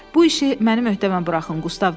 Bu işi mənim öhdəmə buraxın,